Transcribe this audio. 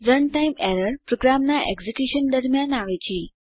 run time error પ્રોગ્રામનાં execution દરમ્યાન આવે છે